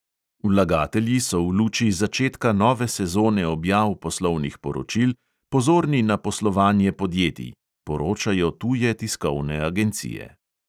"Vlagatelji so v luči začetka nove sezone objav poslovnih poročil pozorni na poslovanje podjetij," poročajo tuje tiskovne agencije.